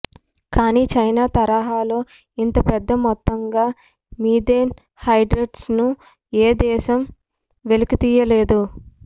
కాని చైనా తరహాలో ఇంత పెద్ద మొత్తంగా మిథేన్ హైడ్రేట్స్ను ఏ దేశం వెలికితీయలేదు